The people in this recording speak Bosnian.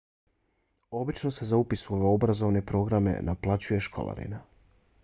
obično se za upis u ove obrazovne programe naplaćuje školarina